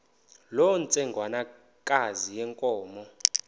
loo ntsengwanekazi yenkomo